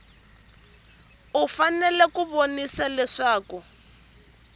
u fanele ku vonisisa leswaku